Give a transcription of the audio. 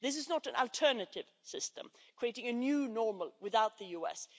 This is not an alternative system, creating a new normal without the US.